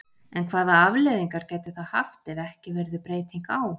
En hvaða afleiðingar gætu það haft ef ekki verður breyting á?